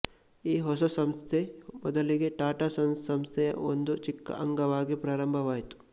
ಈ ಹೊಸ ಸಂಸ್ಥೆ ಮೊದಲಿಗೆ ಟಾಟಾ ಸನ್ಸ್ ಸಂಸ್ಥೆಯ ಒಂದು ಚಿಕ್ಕ ಅಂಗವಾಗಿ ಪ್ರಾರಂಭವಾಗಿತ್ತು